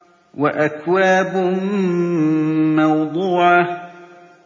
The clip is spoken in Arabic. وَأَكْوَابٌ مَّوْضُوعَةٌ